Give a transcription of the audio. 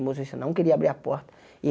O motorista não queria abrir a porta.